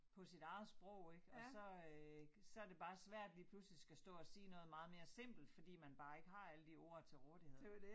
På sit eget sprog ik og så øh så det bare svært lige pludselig skal sige noget meget mere simpelt fordi man bare ikke har alle de ord til rådighed